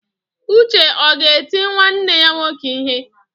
Uche ọ ga-eti nwanne ya nwoke ihe?